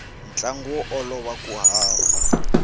ntlangu wo olova ku hava